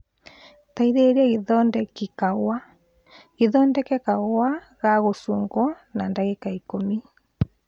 teithĩrĩria gĩthodeki kahũa , gĩthodeke kahũa ga gũchunguo na ndagika ikũmi